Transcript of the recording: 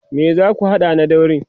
me zaku hada na daurin?